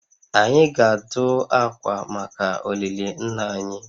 Anyị ga-adụ akwa maka olili nna anyị